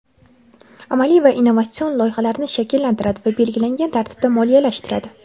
amaliy va innovatsion loyihalarni shakllantiradi va belgilangan tartibda moliyalashtiradi.